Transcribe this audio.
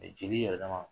Mɛ jeli yɛlɛma